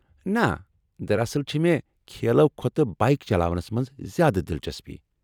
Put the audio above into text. نہ ، دراصل چھِ مےٚ کھیلو کھۄتہٕ بایک چلاونس منٛز زیادٕ دلچسپی ۔